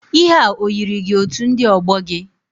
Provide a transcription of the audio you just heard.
Ihe a o yiri gi otu ndị ọgbọ gị?